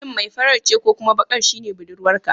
Shin mai farar ce ko kuma bakar shine budurwarka?